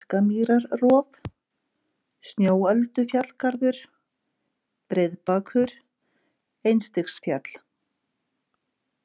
Markamýrarrof, Snjóöldufjallgarður, Breiðbakur, Einstigsfjall